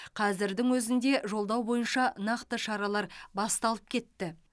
қазірдің өзінде жолдау бойынша нақты шаралар басталып кетті